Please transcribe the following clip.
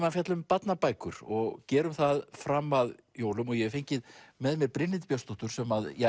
að fjalla um barnabækur og gerum það fram að jólum og ég hef fengið með mér Brynhildi Björnsdóttur sem